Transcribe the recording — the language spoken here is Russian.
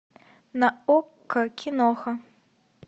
на окко киноха